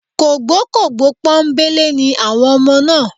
Kògbókògbó pọ́nńbélé ni àwọn ọmọ náà